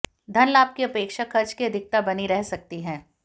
धनलाभ की अपेक्षा खर्च की अधिकता बनी रह सकती है